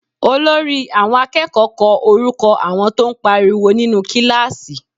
Olórí àwọn akẹ́kọ̀ọ́ kọ orúkọ àwọn tó ń pariwo nínú kíláàsì